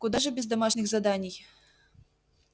куда же без домашних заданий